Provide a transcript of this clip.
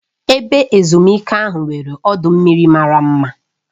Ebe ezumike ahụ nwere ọdọ mmiri mara mma.